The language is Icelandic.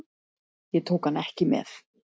Ég tók hann ekki með.